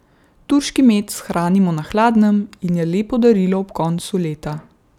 Turški med shranimo na hladnem in je lepo darilo ob koncu leta.